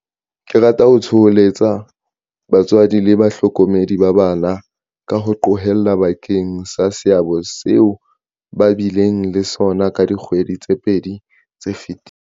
Ke rata ho thoholetsa batswadi le bahlokomedi ba bana, ka ho qolleha, bakeng sa seabo seo ba bileng le sona ka dikgwedi tse pedi tse fetileng.